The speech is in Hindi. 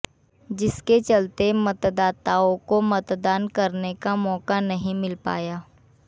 जिसके चलते मतदाताओं को मतदान करने का मौका नहीं मिल पाया